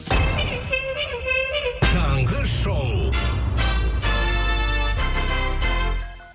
таңғы шоу